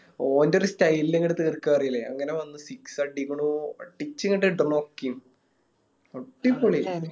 ഓൻറെര് Style ല് അങ്ങട് തീർക്ക പറയില്ലേ അങ്ങനെ വന്ന് Six അടിക്കണു അടിച്ചിങ്ങട് ഇടണു അടിപൊളി